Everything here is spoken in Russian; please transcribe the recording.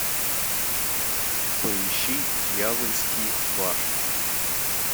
поищи дьявольский ваш